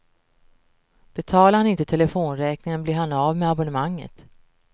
Betalar han inte telefonräkningen blir han av med abonnemanget.